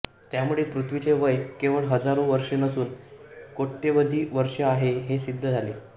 त्यामुळे पृथ्वीचे वय केवळ हजारो वर्षे नसून कोट्यवधी वर्षे आहे हे सिद्ध झाले